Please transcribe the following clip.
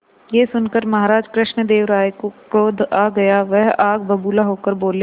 यह सुनकर महाराज कृष्णदेव राय को क्रोध आ गया वह आग बबूला होकर बोले